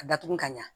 A datugu ka ɲa